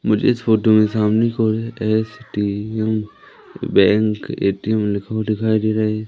मुझे इस फोटो में सामने कि ओर S T M bank A T M लिखा हुआ दिखाई दे रहा हैं।